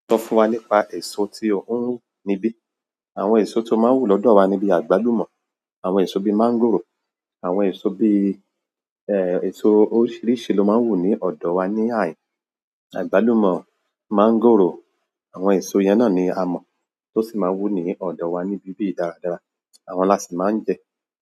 Sọ fún wa nípa èso tí ó ń, níbí. Àwọn èso tó má ń wù lọ́dọ̀ wa ni bí agbalumo àwọn èso bí mángòrò, àwọn èso bí èso oríṣiríṣi ló man wù ni ọ̀dọ̀ wa ni ahin, agbalumo, mángòrò. Àwọn èso yẹn náà ni a mo, tó sin má wù ni ọ̀dọ̀ wa ní ibi yìí dára dára, àwọn èso yẹn la sì máa ń jẹ.